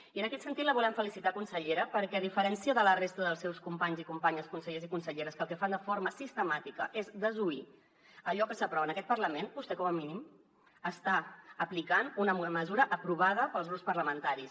i en aquest sentit la volem felicitar consellera perquè a diferència de la resta dels seus companys i companyes consellers i conselleres que el que fan de forma sistemàtica és desoir allò que s’aprova en aquest parlament vostè com a mínim està aplicant una mesura aprovada pels grups parlamentaris